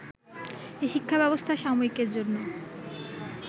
এ শিক্ষাব্যবস্থা সাময়িকের জন্য